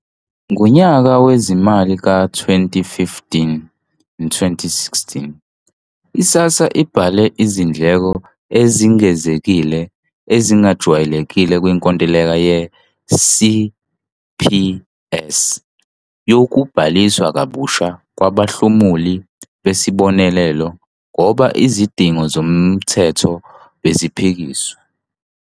Ngonyaka wezimali ka-2015, 2016, i-SASSA ibhale izindleko ezingezekile, ezingajwayelekile kwinkontileka ye-CPS yokubhaliswa kabusha kwabahlomuli besibonelelo ngoba izidingo zomthetho beziphikisiwe.